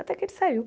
Até que ele saiu.